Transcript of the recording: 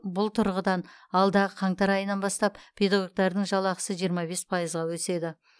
бұл тұрғыдан алдағы қаңтар айынан бастап педагогтардың жалақысы жиырма бес пайызға өседі